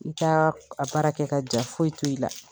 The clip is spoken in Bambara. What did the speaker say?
I t'a baara kɛ ka ja foyi to i la.